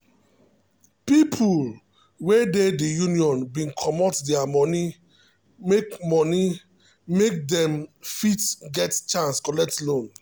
people wey dey the union bin commot their money make money make them um fit get chance collect loan